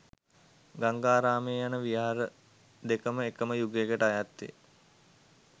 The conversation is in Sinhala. ගංගාරාමය යන විහාර දෙකම එකම යුගයකට අයත් වේ